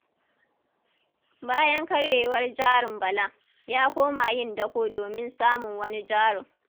Bayan karyewar jarin Bala, ya koma yin dako domin samun wani jarin.